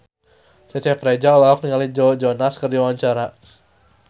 Cecep Reza olohok ningali Joe Jonas keur diwawancara